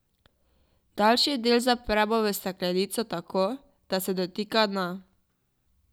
Daljši del zapremo v steklenico tako, da se ne dotika dna.